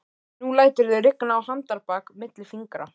Nú læturðu rigna á handarbak milli fingra